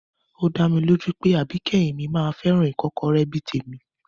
Ó dá mi lójú pé àbíkẹ́yìn mi máa fẹ́ràn ìkọ́kọrẹ́ bí i tèmi